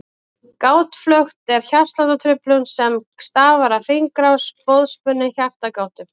Gáttaflökt er hjartsláttartruflun sem stafar af hringrás boðspennu í hjartagáttum.